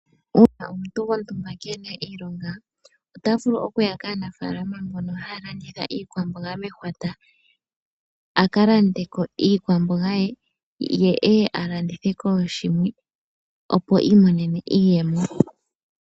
Uuna omuntu gontumba keena iimaliwa ota vulu okuya kaanafaalama mbono haya landitha iikwamboga mehwata. A ka lande ko iikwamboga ye e ye a landithe kooshimwe, opo iimonene iiyemo.